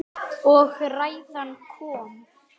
Og ræðan kom.